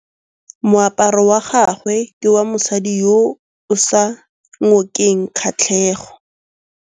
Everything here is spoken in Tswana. Moaparô wa gagwe ke wa mosadi yo o sa ngôkeng kgatlhegô.